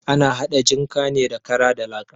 Ana haɗa jinka ne da kara da laka.